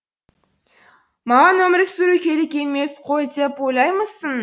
маған өмір сүру керек емес қой деп ойлаймысың